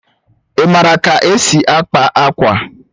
Ị maara ka e si akpa akwa?